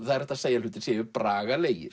það er hægt að segja að hlutir séu